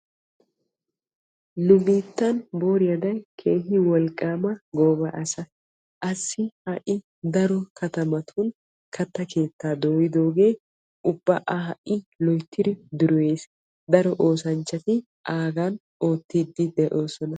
Nu biittan booriya aday wolqqamma asaa daro katamattun katta keetta dooyooge a ha'i keehippe dureyiis. Aagan ha'i daro oosanchchatti oottidde de'osonna.